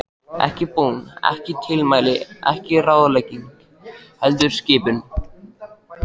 Ekki bón, ekki tilmæli, ekki ráðlegging, heldur skipun.